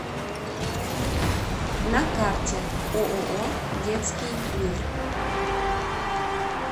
на карте ооо детский мир